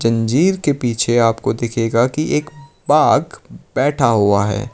जंजीर के पीछे आपको दिखेगा कि एक बाघ बैठा हुआ है।